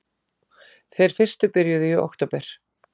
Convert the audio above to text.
Þeir fyrstu byrjuðu í október